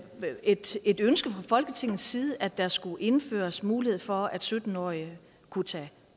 et et ønske fra folketingets side at der skulle indføres mulighed for at sytten årige kunne tage